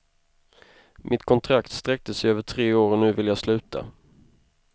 Mitt kontrakt sträckte sig över tre år och nu vill jag sluta.